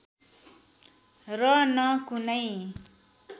र न कुनै